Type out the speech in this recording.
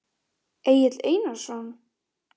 Egill Einarsson?